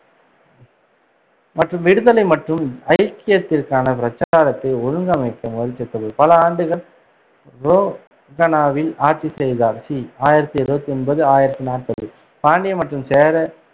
மற்றும் விடுதலை மற்றும் ஐக்கியத்திற்கான பிரச்சாரத்தை ஒழுங்கமைக்க முயற்சித்தபோது பல ஆண்டுகள் ரோகனாவில் ஆட்சி செய்தார். கி பி ஆயிரத்தி இருவத்தி ஒன்பது ஆயிரத்தி நாப்பது பாண்டிய மற்றும் சேர